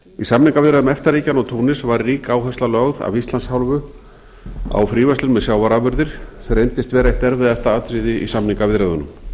samningaviðræðum efta ríkjanna og túnis var rík áhersla lögð af íslands hálfu á fríverslun með sjávarafurðir sem reyndist vera eitt erfiðasta atriðið í samningaviðræðunum